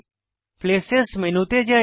places মেনুতে যাই